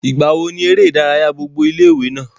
ìgbà wo ni eré ìdárayá gbogbo ilé ìwé náà?